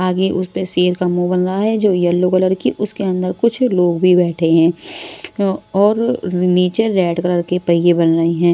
आगे उस पर शेर का मुंह बन रहा हैजो येलो कलर की उसके अंदर कुछ लोग भी बैठे है और नीचे रेड कलर के पहिए बन रहे हैं।